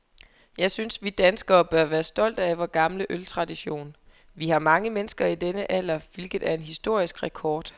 Jeg synes, vi som danskere bør være stolte af vor gamle øltradition. Vi har mange mennesker i denne alder, hvilket er en historisk rekord.